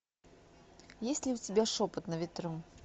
есть ли у тебя шепот на ветру